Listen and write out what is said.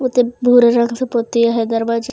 मतब भूरे रंग से पोत दिया है दरवाजा।